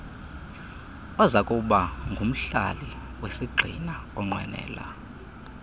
ozakubangumhlali wesigxina onqwenela